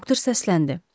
Doktor səsləndi.